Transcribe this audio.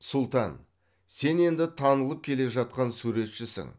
сұлтан сен енді танылып келе жатқан суретшісің